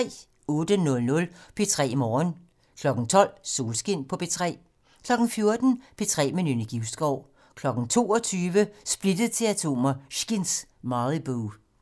08:00: P3 Morgen 12:00: Solskin på P3 14:00: P3 med Nynne Givskov 22:00: Splittet til atomer - Skinz: Malibu